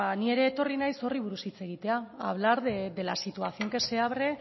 ni ere etorri naiz horri buruz hitz egitea a hablar de la situación que se abre